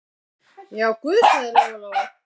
Já, guð, sagði Lóa-Lóa.